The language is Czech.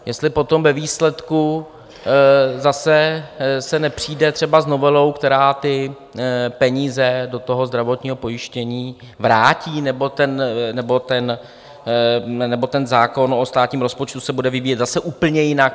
Jestli potom ve výsledku zase se nepřijde třeba s novelou, která ty peníze do toho zdravotního pojištění vrátí, nebo ten zákon o státním rozpočtu se bude vyvíjet zase úplně jinak.